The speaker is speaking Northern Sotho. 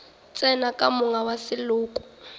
tsene ka monga wa seloko